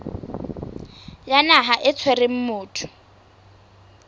ya naha e tshwereng motho